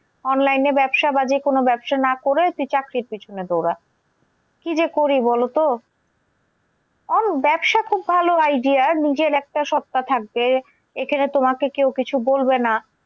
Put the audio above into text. Online এ ব্যবসা বা যেকোনো ব্যবসা না করে তুই চাকরির পিছনে দৌড়া। কি যে করি বলোতো? ব্যবসা খুব ভালো idea নিজের একটা স্বত্যা থাকবে। এখানে তোমাকে কেও কিছু বলবে না।